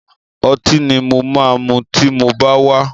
Ọtí ni mo máa mu tí mo bá wá.